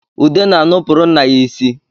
Ude na-anụpụrụ nna ya isi